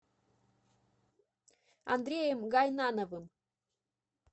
андреем гайнановым